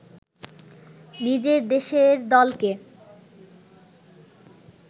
নিজের দেশের দলকে